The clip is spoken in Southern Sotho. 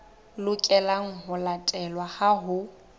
lokelang ho latelwa ha ho